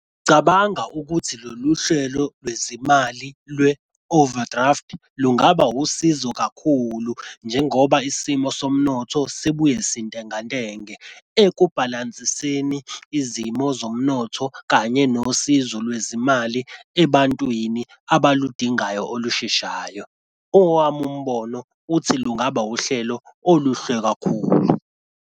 Cabanga ukuthi lolu hlelo lwezimali lwe-overdraft lungaba usizo kakhulu, njengoba isimo somnotho sibuye sintengantenge ekubhalansiseni izimo zomnotho kanye nosizo lwezimali ebantwini abaludingayo olusheshayo. Owami umbono uthi lungaba uhlelo oluhle kakhulu.